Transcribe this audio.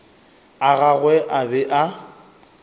a gagwe a be a